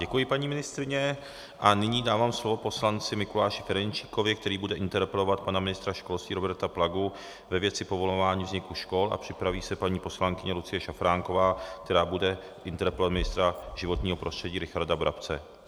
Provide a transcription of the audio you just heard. Děkuji, paní ministryně, a nyní dávám slovo poslanci Mikuláši Ferjenčíkovi, který bude interpelovat pana ministra školství Roberta Plagu ve věci povolování vzniku škol, a připraví se paní poslankyně Lucie Šafránková, která bude interpelovat ministra životního prostředí Richarda Brabce.